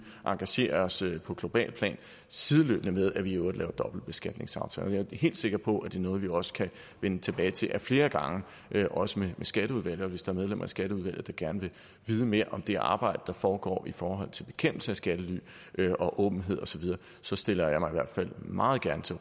engagere os på globalt plan sideløbende med at vi i øvrigt laver dobbeltbeskatningsaftaler jeg er helt sikker på at det er noget vi også kan vende tilbage til ad flere gange også med skatteudvalget og hvis der er medlemmer af skatteudvalget der gerne vil vide mere om det arbejde der foregår i forhold til bekæmpelse af skattely og åbenhed osv så stiller jeg mig i hvert fald meget gerne til